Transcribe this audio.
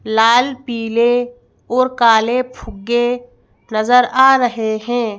लाल पीले और काले फुग्गे नजर आ रहे हैं।